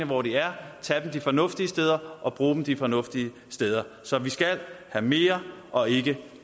hvor de er tage dem de fornuftige steder og bruge dem de fornuftige steder så vi skal have mere og ikke